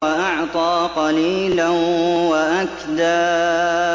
وَأَعْطَىٰ قَلِيلًا وَأَكْدَىٰ